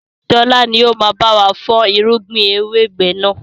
Sọlá ni ó máa báwa fọn irúgbìn ewébẹ̀ náà.